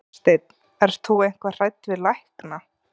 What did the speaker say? Hafsteinn: Ert þú eitthvað hrædd við lækna?